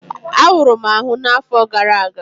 Awuru m ahụ afọ gara aga